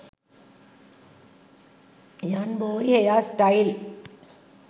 youngboy hair style